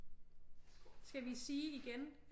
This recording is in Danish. Skal vi sige igen?